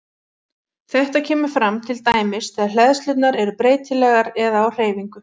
Þetta kemur fram til dæmis þegar hleðslurnar eru breytilegar eða á hreyfingu.